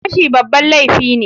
Fashi babban laifi ne.